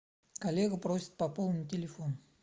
коллега просит пополнить телефон